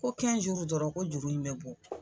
Ko dɔrɔn ko juru in bɛ bɔ.